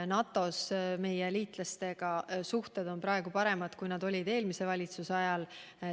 NATO-s on meie suhted liitlastega praegu paremad kui eelmise valitsuse ajal.